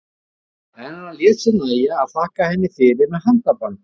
En hann lét sér nægja að þakka henni fyrir með handabandi.